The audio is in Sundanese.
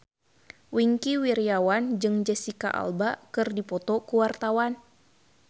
Wingky Wiryawan jeung Jesicca Alba keur dipoto ku wartawan